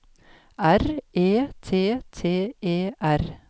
R E T T E R